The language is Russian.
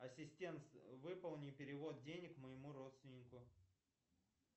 ассистент выполни перевод денег моему родственнику